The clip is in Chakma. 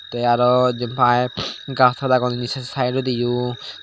te araw jempai gangsora agonne se sidedodi yo.